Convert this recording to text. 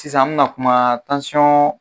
Sisan an bɛna kuma